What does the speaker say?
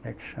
Como é que chama?